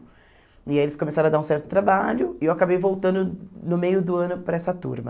E aí eles começaram a dar um certo trabalho, e eu acabei voltando no meio do ano para essa turma.